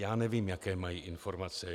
Já nevím, jaké mají informace.